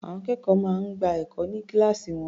Àwọn akẹ́kọ̀ọ́ máa ń gba ẹ̀kọ́ ní kíláàsì wọn.